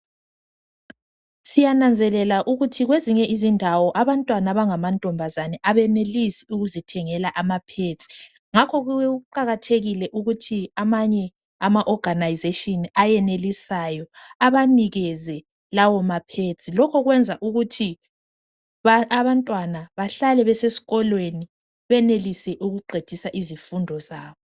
siyananzelela ukuthi kwezinye izindawo abantwana abanga mantombazana abenelise ukuzithengela ama pads ngakho kuqakathekile ukuthi amanye ama organisation ayenelisayo abanikeze lawo ma pads lokhu kwenza ukuthi abantwana bahlale besesikolweni benelise ukuqedisa izifundo zabo